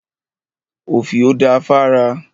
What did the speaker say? Òfìò da fára.